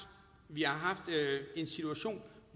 vi har haft en situation